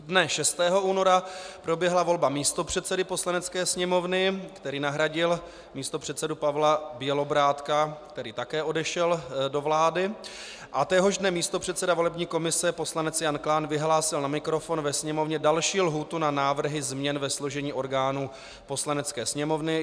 Dne 6. února proběhla volba místopředsedy Poslanecké sněmovny, který nahradil místopředsedu Pavla Bělobrádka, který také odešel do vlády, a téhož dne místopředseda volební komise poslanec Jan Klán vyhlásil na mikrofon ve Sněmovně další lhůtu na návrhy změn ve složení orgánů Poslanecké sněmovny.